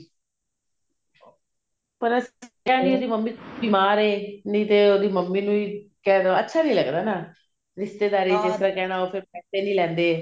ਪਰ ਦੱਸਿਆ ਸੀ ਨੀ ਮੰਮੀ ਬੀਮਾਰ ਹੈ ਨਹੀ ਤੇ ਉਹਦੀ ਮੰਮੀ ਨੂੰ ਹੀ ਕਹਿਦੋ ਅੱਛਾ ਨੀ ਲੱਗਦਾ ਰਿਸ਼ਤੇਦਾਰੀ ਚ ਜਿਸ ਤਰ੍ਹਾਂ ਕਹਿਣਾ ਉਹ ਫ਼ੇਰ ਪੈਸੇ ਨੀ ਲੈਂਦੇ